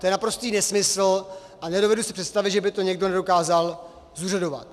To je naprostý nesmysl a nedovedu si představit, že by to někdo nedokázal zúřadovat.